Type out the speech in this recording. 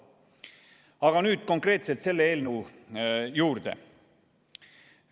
Aga nüüd konkreetselt selle eelnõu juurde.